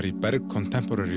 í Berg